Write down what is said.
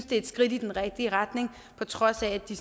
det er et skridt i den rigtige retning på trods af at de